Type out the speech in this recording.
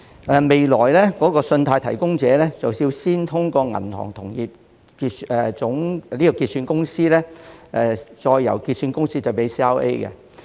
日後，信貸提供者須透過香港銀行同業結算有限公司向 CRA 提供信貸資料。